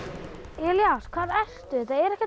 Elías hvar ertu þetta er ekkert